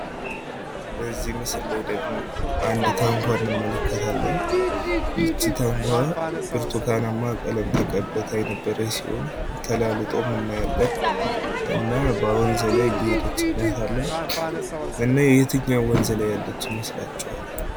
በዚህ ምስል ደግሞ አንድ ታንኳ እንመለከታለን ይቺ ታንኳ ብርቱካናማ ቀለም ተቀብታ የነበረች ሲሆን ተላልጦም እናያለን። እና በወንዝ ላይ እየሄደች እናያታለን። እና የትኛው ወንዝ ላይ ያለች ይመስላችኋል?